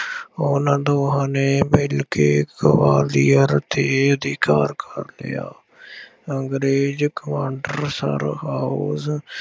ਉਹਨਾ ਦੋਹਾਂ ਨੇ ਮਿਲਕੇ ਗਵਾਲੀਅਰ ਉੱਤੇ ਅਧਿਕਾਰ ਕਰ ਲਿਆ। ਅੰਗਰੇਜ਼ ਕਮਾਂਡਰ ਸਰ ਹਾਊਜ਼